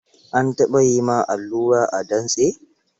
An taɓa yi ma allura a dantse?